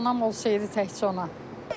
Anam olsaydı təkcə ona.